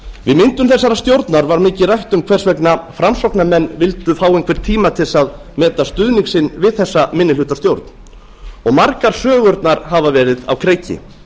við myndun þessarar stjórnar var mikið rætt um hvers vegna framsóknarmenn vildu fá einhvern tíma til þess að meta stuðning sinn við þessa minnihlutastjórn og margar sögurnar hafa verið á kreiki